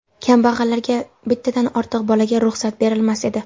Kambag‘allarga bittadan ortiq bolaga ruxsat berilmas edi.